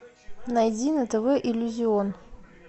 найди на тв иллюзион